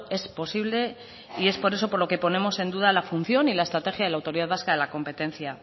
es posible y es por eso por lo que ponemos en duda la función y la estrategia de la autoridad vasca de la competencia